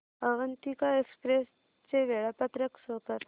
Avantika express चे वेळापत्रक show कर